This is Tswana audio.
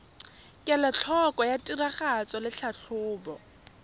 kelotlhoko ya tiragatso le tlhatlhobo